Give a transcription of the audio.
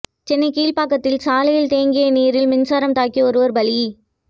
சென்னை கீழ்ப்பாக்கத்தில் சாலையில் தேங்கிய நீரில் மின்சாரம் தாக்கி ஒருவர் பலி